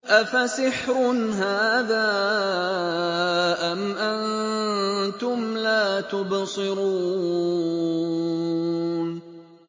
أَفَسِحْرٌ هَٰذَا أَمْ أَنتُمْ لَا تُبْصِرُونَ